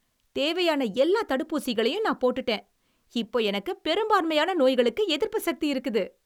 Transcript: தேவையான எல்லா தடுப்பூசிகளையும் நான் போட்டுட்டேன். இப்ப எனக்கு பெரும்பான்மையான நோய்களுக்கு எதிர்ப்புசக்தி இருக்குது.